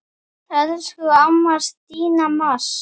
Elsku amma Stína Mass.